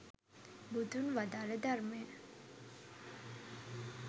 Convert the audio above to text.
බුදුන් වදාල ධර්මය